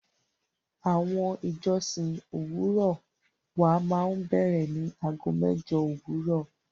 Awọn ìjọ̀ṣìn owurọ̀ wà mà n bẹ̀rẹ ni àágọ̀ mẹ́jọ̀ owurọ̀.